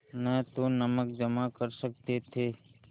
न तो नमक जमा कर सकते थे